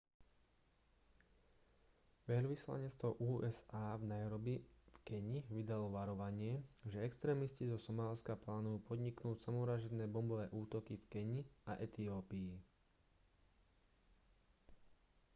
veľvyslanectvo usa v nairobi v keni vydalo varovanie že extrémisti zo somálska plánujú podniknúť samovražedné bombové útoky v keni a etiópii